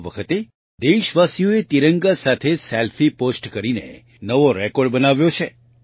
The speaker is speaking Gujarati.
આ વખતે દેશવાસીઓએ તિરંગા સાથે સેલ્ફી પોસ્ટ કરીને નવો રેકોર્ડ બનાવ્યો છે